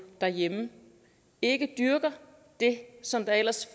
derhjemme ikke dyrker det som ellers